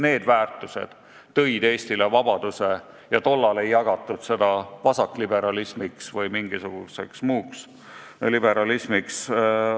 Need väärtused tõid Eestile vabaduse ja tollal ei jagatud seda vasakliberalismiks ja mingisuguseks muuks liberalismiks.